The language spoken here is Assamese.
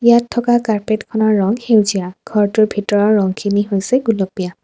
ইয়াত থকা কাৰ্পেটখনৰ ৰং সেউজীয়া ঘৰটোৰ ভিতৰৰ ৰংখিনি হৈছে গুলপীয়া।